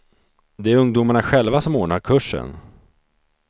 Det är ungdomarna själva som ordnar kursen.